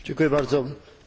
Proszę Państwa!